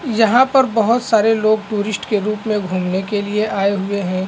यहाँ पर बहुत सारे लोग टूरिस्ट के रूप में घूमने के लिए आए हुए हैं ।